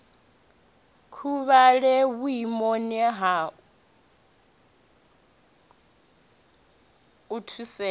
huvhale vhuimoni ha u thusea